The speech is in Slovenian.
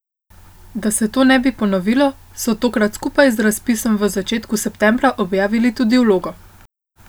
Da se to ne bi ponovilo, so tokrat skupaj z razpisom v začetku septembra objavili tudi vlogo.